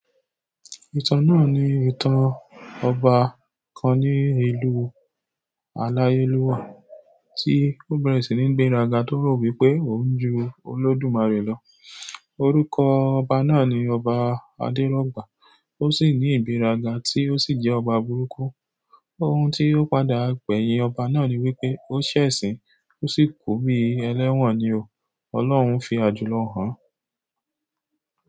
Ìtàn náà ni ìtàn ọba kan ní ìlú àlàyé lúwa tí ó bẹ̀rẹ̀ sí ní gbé raga tó rọ̀ wípé òun ju Olódùmarè lọ. Orúkọ ọba náà ni Ọba Adérọ́gbà ó sì ní ìgbéraga tí ó sì jẹ́ ọba burúkú. Ohun tí ó padà gbẹ̀yìn ọba náà ni wípé ó ṣẹ̀sín ó sì kú bí ẹlẹ́wọ̀n ni o. Ọlọ́run fi àjùlọ ràn.